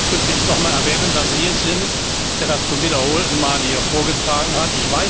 Ich werde auch ausdrücklich nochmals erwähnen, dass Sie es sind, der das zum wiederholten Male hier vorgetragen hat.